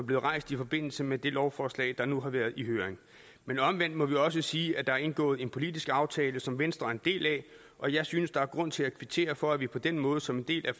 blevet rejst i forbindelse med det lovforslag der nu har været i høring men omvendt må vi også sige at der er indgået en politisk aftale som venstre er en del af og jeg synes at der er grund til at kvittere for at vi på den måde som en del af